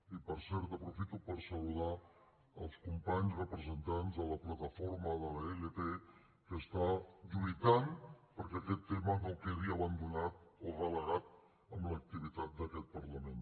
i per cert aprofito per saludar els companys representants de la plataforma de la ilp que està lluitant perquè aquesta tema no quedi abandonat o relegat en l’activitat d’aquest parlament